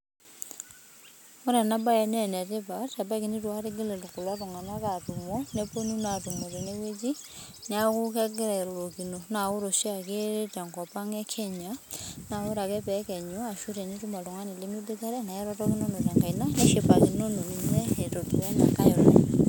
Ore enabae nenetipat kebaiki nitu akata igil kulo tung'anak atumo, neponu naa atumo tenewueji, neeku kegira airorokino. Na ore oshiake tenkop ang e Kenya, na ore ake pekenyu ashu tenitum oltung'ani limiboitare, na irorokinono tenkaina nishipakinono ninye, itodua inankae olong'.